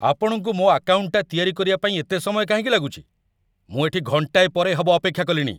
ଆପଣଙ୍କୁ ମୋ' ଆକାଉଣ୍ଟଟା ତିଆରି କରିବା ପାଇଁ ଏତେ ସମୟ କାହିଁକି ଲାଗୁଚି? ମୁଁ ଏଠି ଘଣ୍ଟାଏ ପରେ ହବ ଅପେକ୍ଷା କଲିଣି!